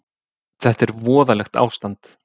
Þetta er voðalegt ástand.